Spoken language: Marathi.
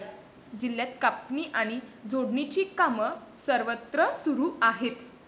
जिल्ह्यात कापणी आणि झोडणीची कामं सर्वत्र सुरु आहेत.